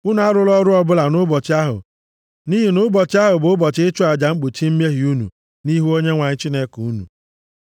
Unu arụla ọrụ ọbụla nʼụbọchị ahụ nʼihi na ụbọchị ahụ bụ ụbọchị ịchụ aja mkpuchi mmehie unu nʼihu Onyenwe anyị Chineke unu.